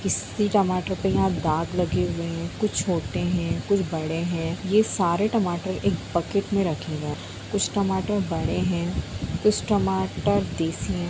किसी टमाटर पे यहां दाग लगे हुए हैं कुछ छोटे हैं कुछ बड़े हैं ये सारे टमाटर एक बकेट में रखे हैं कुछ टमाटर बड़े हैं कुछ टमाटर देसी हैं।